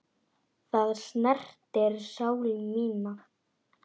Það snertir sál mína.